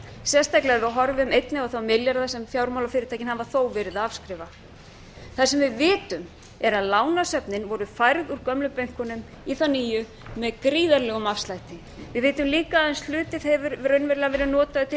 sérstaklega ef við horfum einnig á þá milljarða sem fjármálafyrirtækin hafa þó verið að afskrifa það sem við vitum er að lánasöfnin voru færð úr gömlu bönkunum í þá eru með gríðarlegum afslætti við vitum líka að aðeins hluti hefur raunverulega verið notaður til leiðréttinga